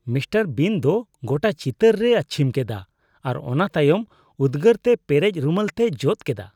Mister Bean ᱫᱚ ᱜᱚᱴᱟ ᱪᱤᱛᱟᱹᱨ ᱨᱮᱭ ᱟᱹᱪᱷᱤᱢ ᱠᱮᱫᱟ ᱟᱨ ᱚᱱᱟ ᱛᱟᱭᱚᱢ ᱩᱫᱜᱟᱹᱨᱛᱮ ᱯᱮᱨᱮᱡ ᱨᱩᱢᱟᱹᱞ ᱛᱮᱭ ᱡᱚᱫ ᱠᱮᱫᱟ ᱾